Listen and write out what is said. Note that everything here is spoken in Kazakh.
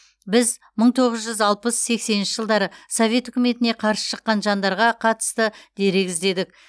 біз мың тоғыз жүз алпыс сексенінші жылдары совет үкіметіне қарсы шыққан жандарға қатысты дерек іздедік